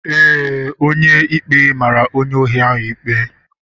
Ee, onye ikpe mara onye ohi ikpe.